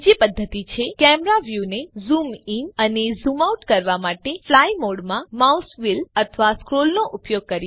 બીજી પદ્ધતિ છે કૅમેરા વ્યુને ઝૂમ ઇન અને ઝૂમ આઉટ કરવા માટે ફ્લાય મોડમાં માઉસ વ્હીલ અથવા સ્ક્રોલ નો ઉપયોગ કરીને